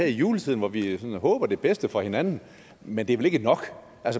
i juletiden hvor vi håber det bedste for hinanden men det er vel ikke nok